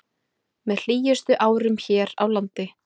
Með hlýjustu árum hér á landi